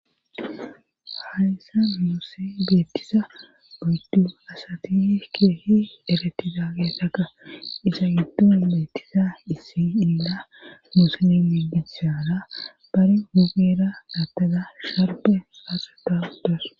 Haayisa muosse geettisa guydu asati keehi ereti daagesaka isa giddon beettisa issi illa musene migisyaara bari hugera dattaza sharbe saaseta uddas